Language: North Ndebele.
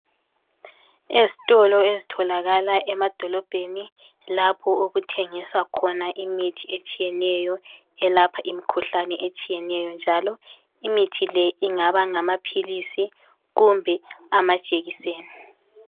Ezitolo ezitholakala emadolobheni lapho okuthengiswa khona imithi etshiyeneyo eyelapha imikhuhlane etshiyeneyo njalo imithi le ingaba ngamaphilisi kumbe amajekiseni.